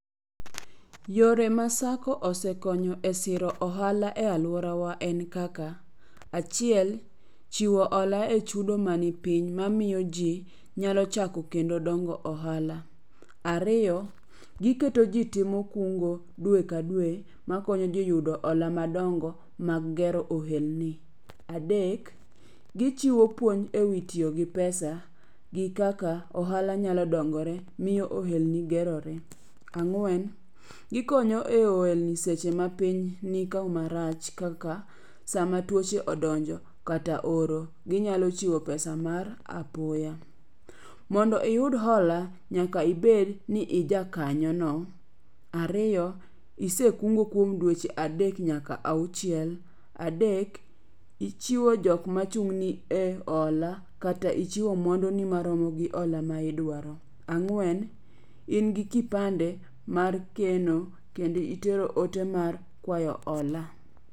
Yore ma sacco osekonyo e siro ohala e alworawa en kaka. Achiel, chiwo hola e chudo manipiny mamiyo ji nyalo chako kendo dongo ohala. Ariyo, giketo ji timo kungo dwe ka dwe makonyo ji yudo hola madongo mag gero ohelni. Adek, gichiwo puonj e wi tiyo gi pesa gi kaka ohala nyalo dongore miyo ohelni gerore. Ang'wen, gikonyo e ohelni seche ma piny ni kama rach kaka sama tuoche odonjo kata oro, ginyalo chiwo pesa mar apoya. Mondo iyud hola nyaka ibed ni i jakanyono, ariyo, isekungo kuom dweche adek nyaka auchiel, adek, ichiwo jokma chung'ni e hola kata ichiwo mwanduni maromo gi hola ma idwaro, ang'wen, in gi kipande mar keno kendo itero ote mar kwayo hola.